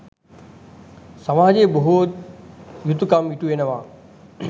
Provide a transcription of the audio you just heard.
සමාජයේ බොහෝ යුතුකම් ඉටුවනවා.